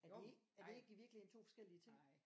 Er det er det ikke i virkeligheden 2 forskellige ting